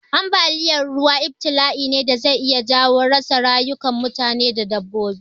Ambaliya ruwa ibtila'i ne da zai iya jawo rasa rayukan mutane da dabbobi.